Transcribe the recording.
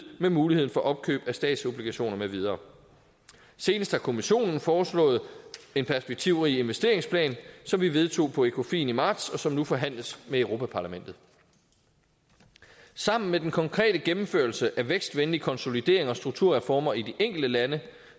med muligheden for opkøb af statsobligationer med videre senest har kommissionen foreslået en perspektivrig investeringsplan som vi vedtog på ecofin i marts og som nu forhandles med europa parlamentet sammen med den konkrete gennemførelse af vækstvenlig konsolidering og strukturreformer i de enkelte lande